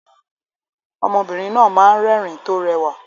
Ọmọbìnrin náà máa ń rẹ́rìn-ín tó rẹwà